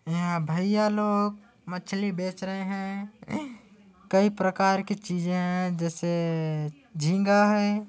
यहा भैया लोग मछली बेच रहे है। कई प्रकार की चीजे है जेसे जीनगा है।